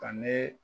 Ka ne